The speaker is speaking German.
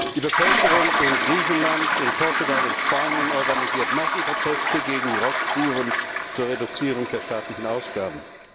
Die Bevölkerung in Griechenland, Portugal, Spanien organisiert Massenproteste gegen die Rosskuren zur Reduzierung der staatlichen Ausgaben.